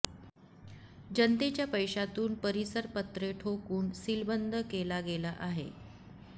जनतेच्या पैशातून परिसर पत्रे ठोकून सीलबंद केला गेला आहे